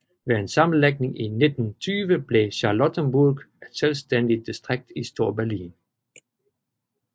Ved en sammenlægning i 1920 blev Charlottenburg et selvstændigt distrikt i Storberlin